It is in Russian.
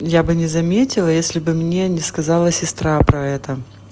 я бы не заметила если бы мне не сказала сестра про это